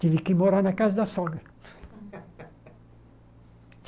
Tive que morar na casa da sogra.